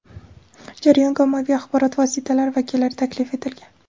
jarayonga ommaviy axborot vositalari vakillari taklif etilgan.